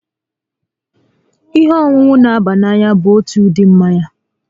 Ihe ọṅụṅụ n'aba n'anya bụ otu ụdị mmanya